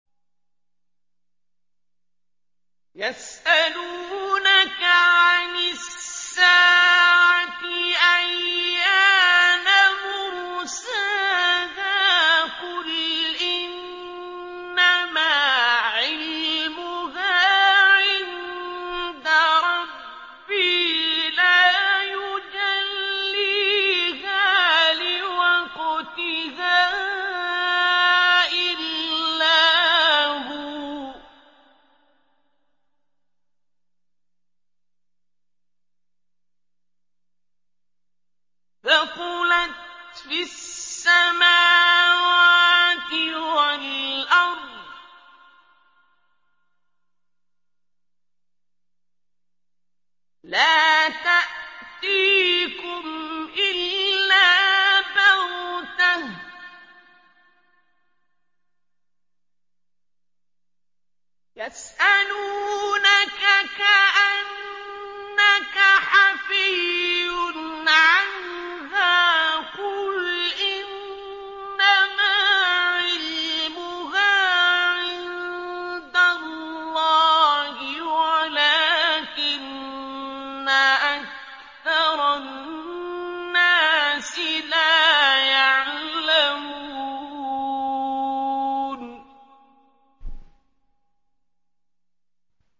يَسْأَلُونَكَ عَنِ السَّاعَةِ أَيَّانَ مُرْسَاهَا ۖ قُلْ إِنَّمَا عِلْمُهَا عِندَ رَبِّي ۖ لَا يُجَلِّيهَا لِوَقْتِهَا إِلَّا هُوَ ۚ ثَقُلَتْ فِي السَّمَاوَاتِ وَالْأَرْضِ ۚ لَا تَأْتِيكُمْ إِلَّا بَغْتَةً ۗ يَسْأَلُونَكَ كَأَنَّكَ حَفِيٌّ عَنْهَا ۖ قُلْ إِنَّمَا عِلْمُهَا عِندَ اللَّهِ وَلَٰكِنَّ أَكْثَرَ النَّاسِ لَا يَعْلَمُونَ